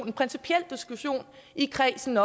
en principiel diskussion i kredsen